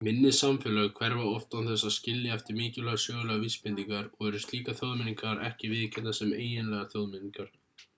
minni samfélög hverfa oft án þess að skilja eftir mikilvægar sögulegar vísbendingar og eru slíkar þjóðmenningar ekki viðurkenndar sem eiginlegar þjóðmenningar